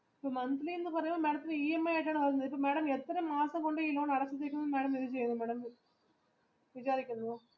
monthly എന്ന് അപറയുമ്പോൾ madam ത്തിന് EMI ആയിട്ടാണ് വരുന്നത് എത്ര മാസം കൊണ്ട് അടച്ച് തീർക്കും